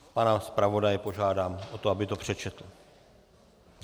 Pana zpravodaje požádám o to, aby to přečetl.